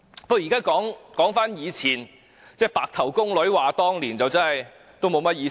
現在說回從前，就像"白頭宮女話當年"，已無甚意義。